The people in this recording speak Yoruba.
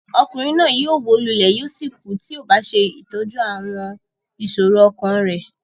Ọkùnrin náà yóò wó lulẹ̀ yóò sì kú tí kò bá ṣe ìtọ́jú àwọn ìṣòro ọkàn rẹ̀.